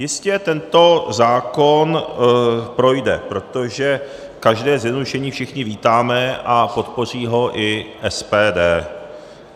Jistě tento zákon projde, protože každé zjednodušení všichni vítáme, a podpoří ho i SPD.